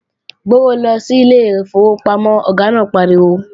Gbówó lọ sílé ìfowópamọ́, Ọ̀gá náà pariwo!